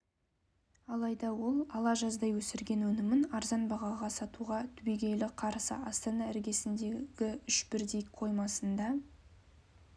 алайда ол ала жаздай өсірген өнімін арзан бағаға сатуға түбегейлі қарсы астана іргесіндегі үш бірдей қоймасында